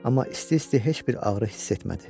Amma isti-isti heç bir ağrı hiss etmədi.